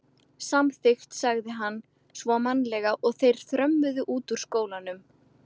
Samþykkt sagði hann svo mannalega og þeir þrömmuðu út úr skólanum.